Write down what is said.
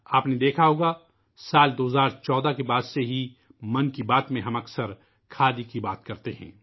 آپ نے دیکھا ہوگا ، سال 2014 ء کے بعد سے ہی '' من کی بات '' میں ہم اکثر کھادی کے بارے میں بات کرتے ہیں